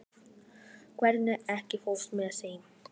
Varmi, ekki fórstu með þeim?